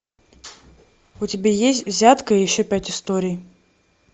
у тебя есть взятка и еще пять историй